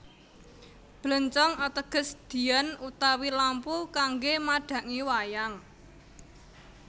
Bléncong ateges diyan utawi lampu kanggé madhangi wayang